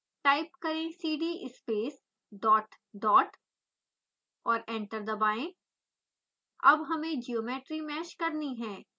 type करें cd space dot dot और enter दबाएं अब हमें ज्योमेट्री मैश करनी है